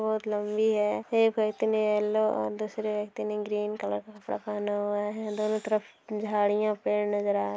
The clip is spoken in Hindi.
बहुत लम्बी हैएक व्यक्ति ने येलो दूसरे व्यक्ति ने ग्रीन कलर कपड़ा पहना हुआ है दोनों तरफ झाड़ियाँ पेड़ नजर आ --